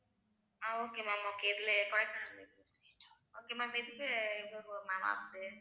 ஆஹ் okay ma'am okay இதுல